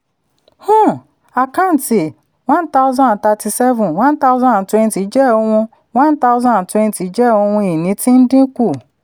um àkáǹtí one thousand and thirty-seven one thousand and twenty jẹ́ ohun one thousand and twenty jẹ́ ohun ìní tí ń dínkù.